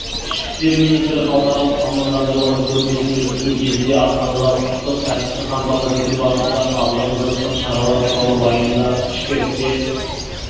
ішкі істер министрі халықаралық мамандандырылған көрмесін өткізу кезінде астанадағы құқықтық тәртіпті қамтамасыз ету барысында қабылданып жатқан шаралар туралы баяндап ішкі істер